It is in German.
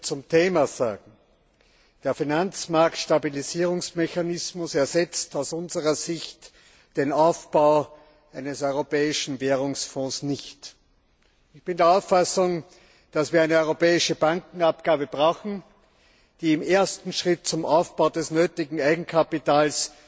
Zum Thema ist festzuhalten Der Finanzmarktstabilisierungsmechanismus ersetzt aus unserer Sicht den Aufbau eines europäischen Währungsfonds nicht. Ich bin der Auffassung, dass wir eine europäische Bankenabgabe brauchen, die im ersten Schritt zum Aufbau des nötigen Eigenkapitals